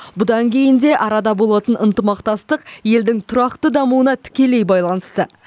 бұдан кейін де арада болатын ынтымақтастық елдің тұрақты дамуына тікелей байланысты